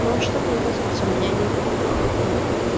ну что мне высказаться меня не навидят ну